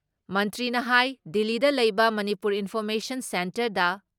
ꯃꯟꯇ꯭ꯔꯤꯅ ꯍꯥꯏ ꯗꯤꯜꯂꯤꯗ ꯂꯩꯕ ꯃꯅꯤꯄꯨꯔ ꯏꯟꯐꯣꯔꯃꯦꯁꯟ ꯁꯦꯟꯇꯔꯗ